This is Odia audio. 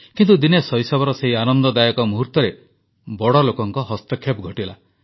କିନ୍ତୁ ଦିନେ ଶୈଶବର ସେହି ଆନନ୍ଦଦାୟକ ମୁହୂର୍ତ୍ତରେ ବଡ଼ ଲୋକଙ୍କ ହସ୍ତକ୍ଷେପ ଘଟିଲା